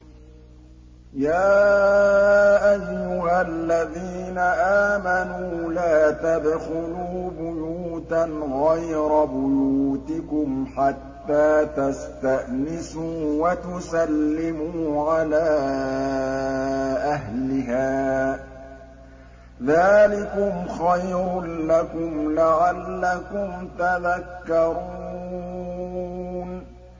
يَا أَيُّهَا الَّذِينَ آمَنُوا لَا تَدْخُلُوا بُيُوتًا غَيْرَ بُيُوتِكُمْ حَتَّىٰ تَسْتَأْنِسُوا وَتُسَلِّمُوا عَلَىٰ أَهْلِهَا ۚ ذَٰلِكُمْ خَيْرٌ لَّكُمْ لَعَلَّكُمْ تَذَكَّرُونَ